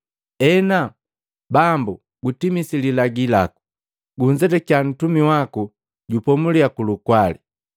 “Enu Bambu gutimisi lilagi laku, gunzetakya ntumi waku, jupomulya kulukwali,